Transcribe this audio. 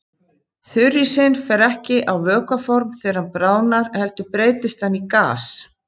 Þurrísinn fer ekki á vökvaform þegar hann bráðnar heldur breytist hann í gas.